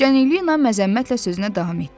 Canelina məzəmmətlə sözünə davam etdi.